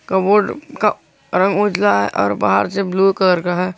का बोर्ड का रंग उजला है और बाहर से ब्लू कलर का है।